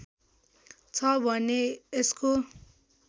छ भने यसको